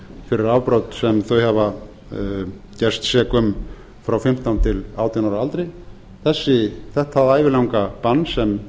fyrir afbrot sem þau hafa gerst sek um frá fimmtán til átján ára aldri þetta ævilanga bann sem